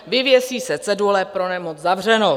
Vyvěsí se cedule "Pro nemoc zavřeno".